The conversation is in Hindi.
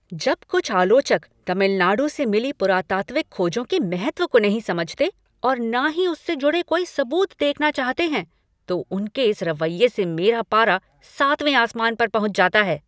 जब कुछ आलोचक तमिलनाडु से मिली पुरातात्विक खोजों के महत्व को नहीं समझते और न ही उससे जुड़े कोई सबूत देखना चाहते हैं, तो उनके इस रवैये से मेरा पारा सातवें आसमान पर पहुँच जाता है।